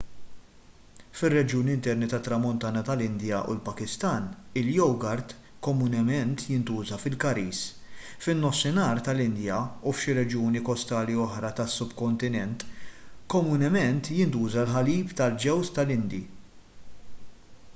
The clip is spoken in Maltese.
fir-reġjuni interni tat-tramuntana tal-indja u l-pakistan il-jogurt komunement jintuża fil-curries fin-nofsinhar tal-indja u f'xi reġjuni kostali oħra tas-subkontinent komunement jintuża l-ħalib tal-ġewż tal-indi